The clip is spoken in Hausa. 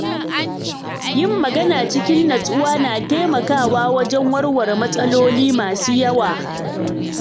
Yin magana cikin nutsuwa na taimakawa wajen warware matsaloli masu yawa.